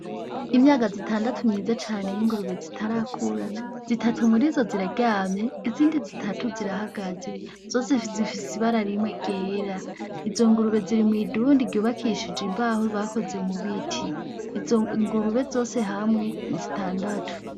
Imyagazi itandatu myiza cane y'ingurube zitarakura, zitatu murizo ziraryamye, izindi zitatu zirahagaze, zose zifise ibara rimwe ryera, izo ngurube ziri mw'idundi ryubakishije imbaho bakoze mu biti, izo ngurube zose hamwe ni zitandatu.